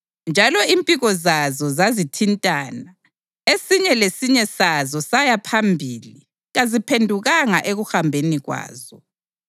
njalo impiko zazo zazithintana. Esinye lesinye sazo saya phambili; kaziphendukanga ekuhambeni kwazo.